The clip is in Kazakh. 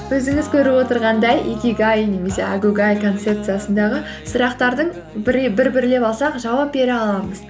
өзіңіз көріп отырғандай икигай немесе әгугай концепциясындағы сұрақтардың бір бірлеп алсақ жауап бере аламыз